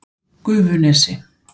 Gufunesi